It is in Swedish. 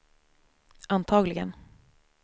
antagligen